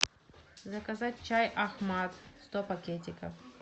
заказать чай ахмад сто пакетиков